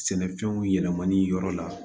Sɛnɛfɛnw yɛlɛmali yɔrɔ la